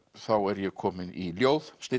þá er ég komin í ljóð